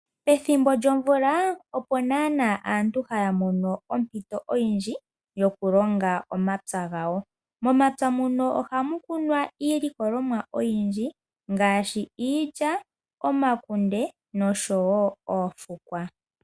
Pethimbo lyomvula opo nana aantu haya mono ompito oyindji yokulonga momapya gawo. Momapya muno ohamu kunwa iilikolomwa oyindji ngaashi iilya, omakunde nosho wo oofukwa.